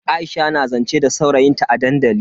Aisha na zance da saurayin ta a dandali.